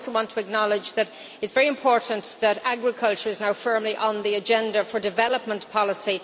and I also want to acknowledge that it is very important that agriculture is now firmly on the agenda for development policy.